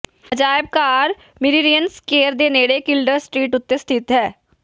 ਅਜਾਇਬ ਘਰ Merrion square ਦੇ ਨੇੜੇ ਕਿਲਡਰ ਸਟ੍ਰੀਟ ਉੱਤੇ ਸਥਿਤ ਹੈ